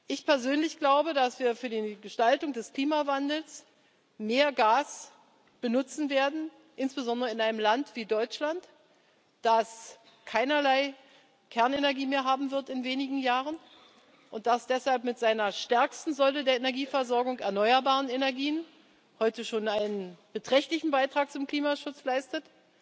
Ich persönlich glaube, dass wir für die Gestaltung des Klimawandels mehr Gas benutzen werden, insbesondere in einem Land wie Deutschland, das in wenigen Jahren keinerlei Kernenergie mehr haben wird und das deshalb mit seiner stärksten Säule der Energieversorgung, den erneuerbaren Energien, heute schon einen beträchtlichen Beitrag zum Klimaschutz leistet.